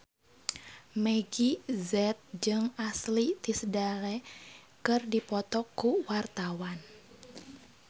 Meggie Z jeung Ashley Tisdale keur dipoto ku wartawan